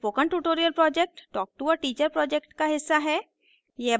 spoken tutorial project talk to a teacher project का हिस्सा है